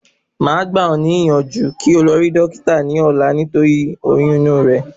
máà gbà o níyànjú kí o lọ rí Dókítà ní ọ̀la torí oyún inú re